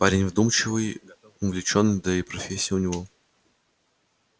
парень вдумчивый увлечённый да и профессия у него